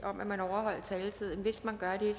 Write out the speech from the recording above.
om at man over holder taletiden hvis man gør det